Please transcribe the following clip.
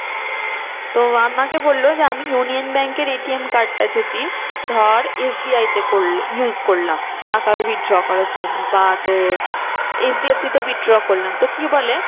তো আমাকে বললো যে আমি union bank এর ATM card টা যদি ধর SBI তে করলে use করলাম টাকা withdrawal করার জন্য বা তোর HDFC তে withdrawal করলাম। তো কি বলে